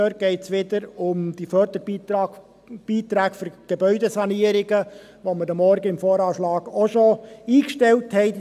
Dabei geht es wieder um die Förderbeiträge für Gebäudesanierungen, die 2 Mio. Franken, die wir heute Morgen im VA schon eingestellt haben.